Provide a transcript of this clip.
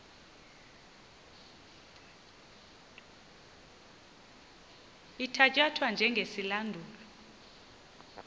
ithatya thwa njengesilandulo